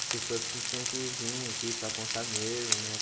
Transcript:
As pessoas que tinha que vir aqui para contar mesmo, né?